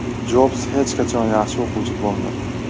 Jobs hech qachon yaxshi o‘quvchi bo‘lmagan.